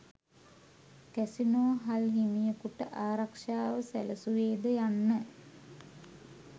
casino හල් හිමියකුට ආරක්ෂාව සැලසුවේද යන්න